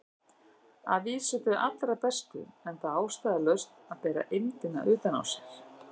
Að vísu þau allra bestu, enda ástæðulaust að bera eymdina utan á sér.